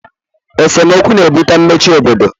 esemokwu na-ebute mmechi obodo